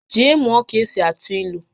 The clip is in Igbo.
Jee mụọ ka-esi atụ ílú!